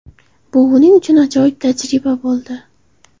Bu uning uchun ajoyib tajriba bo‘ldi.